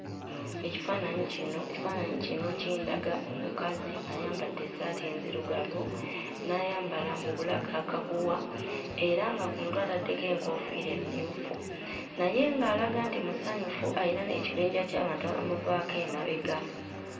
Ekifaananyi kino ekifaananyi kino kindaga omukazi ayambadde essaati enzirugavu, n'ayambala mu bulago akaguwa, era nga ku mutwe ataddeko enkoofiira emmyufu, naye ng'alaga nti musanyufu; alina n'ekibinja ky'abantu abamuvaako emabega.